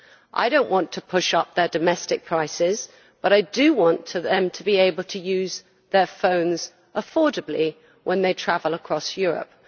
I do not want to push up their domestic prices, but I do want to them to be able to use their phones affordably when they travel across Europe.